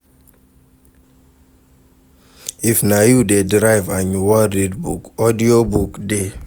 If na you de drive and you wan read book, audio book de